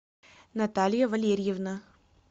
наталья валерьевна